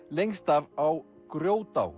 lengst af á